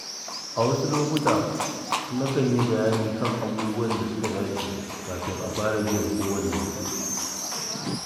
A wasu lokuta, na kan yi bayani kan abubuwan da suka dace kafin a fara biyan kowane kuɗi.